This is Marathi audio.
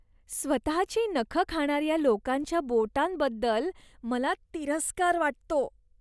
स्वतची नखं खाणाऱ्या लोकांच्या बोटांबद्दल मला तिरस्कार वाटतो.